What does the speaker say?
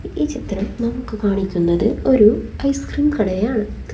ഈ ചിത്രം നമുക്ക് കാണിക്കുന്നത് ഒരു ഐസ്ക്രീം കടയാണ്.